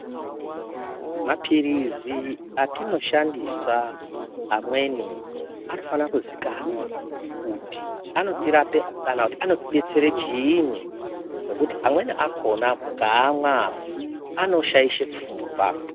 Mapirizi atinoshandisa amweni anofana kuzikanwa kut anoirape kana anotidetsera chiini ngekuti amweni akhona mukaamwa anoshaishe pfungwa.